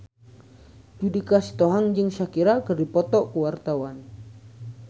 Judika Sitohang jeung Shakira keur dipoto ku wartawan